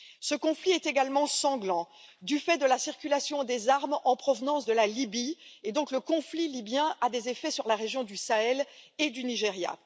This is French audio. Ce conflit est également sanglant du fait de la circulation des armes en provenance de la Libye le conflit libyen a donc des effets sur la région du Sahel et du Nigeria.